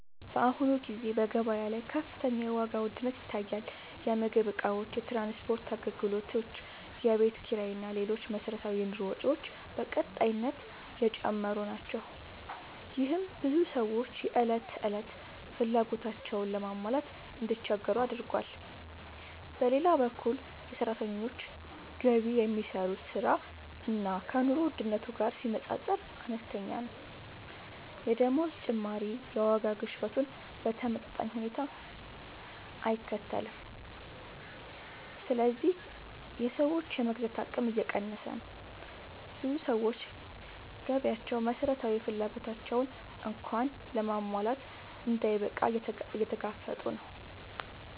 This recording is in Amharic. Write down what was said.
በአሁኑ ጊዜ በገበያ ላይ ከፍተኛ የዋጋ ውድነት ይታያል። የምግብ እቃዎች፣ የትራንስፖርት አገልግሎቶች፣ የቤት ኪራይ እና ሌሎች መሠረታዊ የኑሮ ወጪዎች በቀጣይነት እየጨመሩ ናቸው። ይህም ብዙ ሰዎች የዕለት ተዕለት ፍላጎቶቻቸውን ለማሟላት እንዲቸገሩ አድርጓል። በሌላ በኩል የሰራተኞች ገቢ ከሚሰሩት ሥራ እና ከኑሮ ውድነቱ ጋር ሲነጻጸር አነስተኛ ነው። የደመወዝ ጭማሪ የዋጋ ግሽበቱን በተመጣጣኝ ሁኔታ አይከተልም፣ ስለዚህ የሰዎች የመግዛት አቅም እየቀነሰ ነው። ብዙ ሰዎች ገቢያቸው መሠረታዊ ፍላጎቶቻቸውን እንኳን ለማሟላት እንዳይበቃ እየተጋፈጡ ነው።